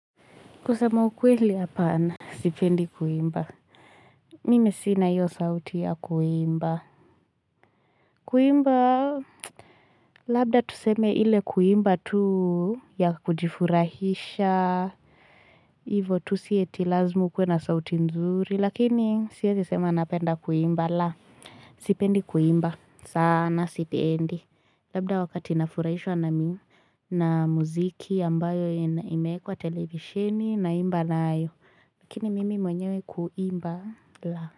Kusema ukweli hapana. Sipendi kuimba. Mimi sina iyo sauti ya kuimba. Kuimba labda tuseme ile kuimba tu ya kujifurahisha. Hivo tu si eti lazima ukuwe na sauti nzuri. Lakini siezi sema napenda kuimba. La sipendi kuimba. Sana sipendi. Labda wakati nafurahishwa na muziki ambayo imeekwa televishini naimba nayo. Lakini mimi mwenyewe kuimba la.